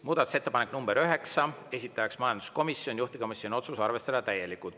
Muudatusettepanek nr 9, esitaja majanduskomisjon, juhtivkomisjoni otsus: arvestada täielikult.